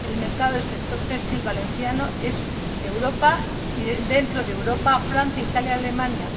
El mercado para el sector textil valenciano es Europa y, dentro de Europa, Francia, Italia y Alemania.